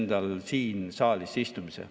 Aitäh!